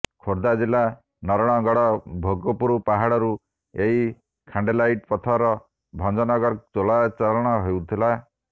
ଖୋର୍ଦ୍ଧା ଜିଲ୍ଲା ନରଣଗଡ ଭୋଗପୁର ପାହାଡରୁ ଏହି ଖାଣ୍ଡେଲାଇଟ୍ ପଥର ଭଂଜନଗରକୁ ଚୋରା ଚାଲାଣ ହେଉଥିଲା